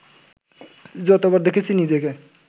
যতবার দেখেছি নিজেকে